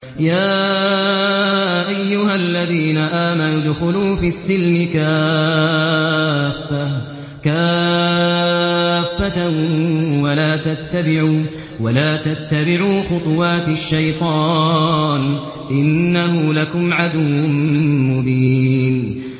يَا أَيُّهَا الَّذِينَ آمَنُوا ادْخُلُوا فِي السِّلْمِ كَافَّةً وَلَا تَتَّبِعُوا خُطُوَاتِ الشَّيْطَانِ ۚ إِنَّهُ لَكُمْ عَدُوٌّ مُّبِينٌ